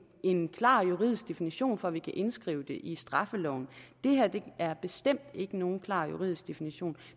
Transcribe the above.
en klar juridisk definition for at vi kan indskrive det i straffeloven det her er bestemt ikke nogen klar juridisk definition